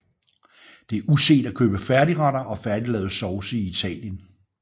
Det er uset at købe færdigretter og færdiglavede sovse i Italien